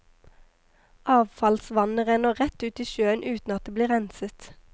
Avfallsvannet renner rett ut i sjøen uten at det blir renset.